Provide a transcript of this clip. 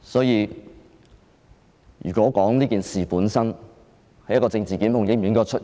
就這件事本身而言，政治檢控應否出現？